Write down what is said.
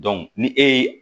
ni e ye